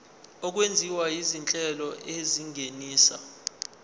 okwenziwa izinhlelo ezingenisa